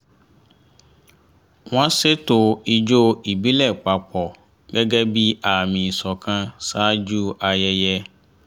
wọ́n ṣètò ijó ìbílẹ̀ papọ̀ gẹ́gẹ́ bí àmì ìṣọ̀kan ṣáájú ayẹyẹ